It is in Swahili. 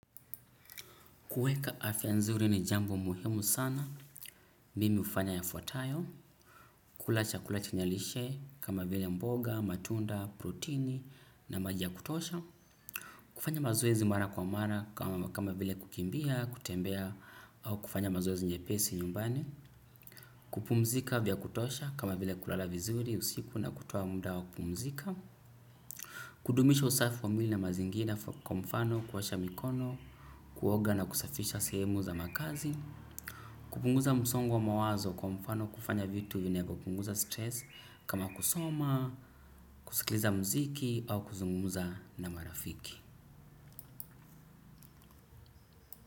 Kuweka afya nzuri ni jambo muhimu sana, mimi hufanya yafuatayo, kula chakula chenye lishe, kama vile mboga, matunda, protini, na maji ya kutosha, kufanya mazoezi mara kwa mara kama vile kukimbia, kutembea, au kufanya mazoezi nyepesi nyumbani, kupumzika vya kutosha, kama vile kulala vizuri, usiku na kutoa muda wa kupumzika, kudumisha usafi wa mwili na mazingira kwa mfano, kuosha mikono, kuoga na kusafisha sehemu za makazi, kupunguza musongo mawazo kwa mfano kufanya vitu vinavyopunguza stress kama kusoma, kusikiliza mziki au kuzungumuza na marafiki.